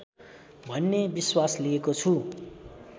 भन्ने विश्वास लिएको छु